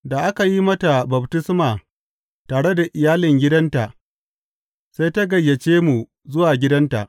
Da aka yi mata baftisma tare da iyalin gidanta, sai ta gayyace mu zuwa gidanta.